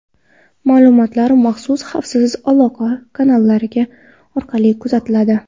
Ma’lumotlar maxsus xavfsiz aloqa kanallari orqali uzatiladi.